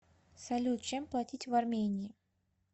салют чем платить в армении